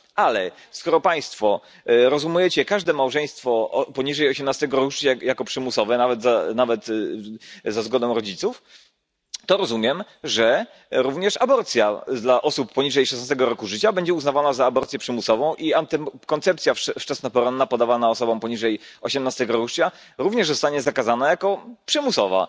Ale skoro państwo rozumiecie każde małżeństwo poniżej 18 roku życia jako przymusowe, nawet za zgodą rodziców, to rozumiem, że również aborcja dla osób poniżej 16 roku życia będzie uznawana za aborcję przymusową, a antykoncepcja wczesnoporonna podawana osobom poniżej 18 roku życia również zostanie zakazana jako przymusowa.